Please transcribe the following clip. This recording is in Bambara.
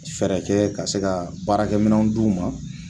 Fɛɛrɛ kɛ ka se ka baarakɛminɛnw di u ma